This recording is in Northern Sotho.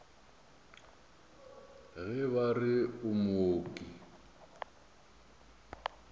ge ba re o mooki